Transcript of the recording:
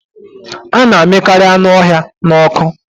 A na amịkarị anụ ọhịa n'ọkụ